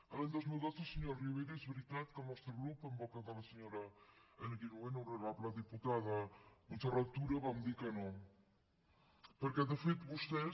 l’any dos mil dotze senyor rivera és veritat que el nostre grup en boca de la senyora en aquell moment honorable diputada montserrat tura vam dir que no perquè de fet vostès